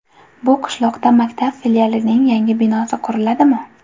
Bu qishloqda maktab filialining yangi binosi quriladimi?